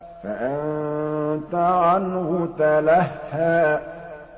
فَأَنتَ عَنْهُ تَلَهَّىٰ